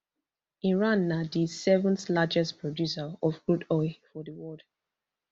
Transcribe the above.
iran na di seventh largest producer of crude oil for di world